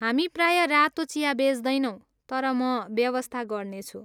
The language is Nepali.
हामी प्रायः रातो चिया बेच्दैनौँ, तर म व्यवस्था गर्नेछु।